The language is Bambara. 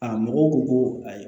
A mɔgɔw ko ko ayi